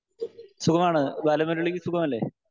Speaker 1 സുഖമാണ്, ബാലമുരളിക്ക് സുഖമല്ലേ?